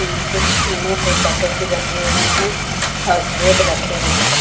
कुछ ईनो के पैकेट भी रखे हुए हैं और ब्रेड रखे हुए हैं।